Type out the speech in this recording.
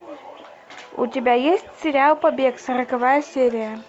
у тебя есть сериал побег сороковая серия